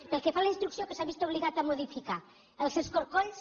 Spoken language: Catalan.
pel que fa a la instrucció que s’ha vist obligat a modificar els escorcolls